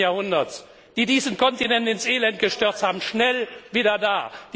20. Jahrhunderts, die diesen Kontinent ins Elend gestürzt haben, schnell wieder da.